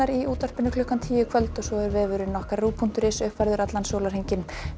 í útvarpi klukkan tíu í kvöld og vefurinn rúv punktur is er uppfærður allan sólarhringinn